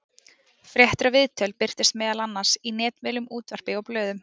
Fréttir og viðtöl birtust meðal annars í netmiðlum, útvarpi og blöðum.